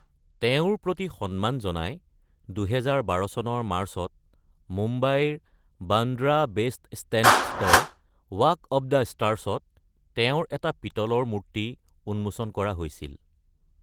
তেওঁৰ প্ৰতি সন্মান জনাই, ২০১২ চনৰ মাৰ্চত মুম্বাইৰ বান্দ্ৰা বেণ্ডষ্টেণ্ডস্থিত ৱাক অফ দা ষ্টাৰ্ছত তেওঁৰ এটা পিতলৰ মূৰ্তি উন্মোচন কৰা হৈছিল।